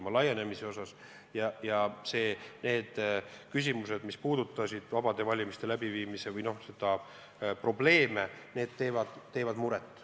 Ma ei kõhkle siin välja öelda, et need küsimused, mis puudutasid vabade valimiste läbiviimise probleeme, teevad muret.